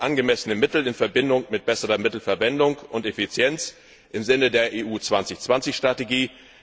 Wir brauchen angemessene Mittel in Verbindung mit besserer Mittelverwendung und Effizienz im Sinne der EU 2020 Strategie.